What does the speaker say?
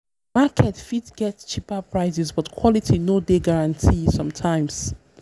market fit get cheaper prices but quality no dey guarantee sometimes.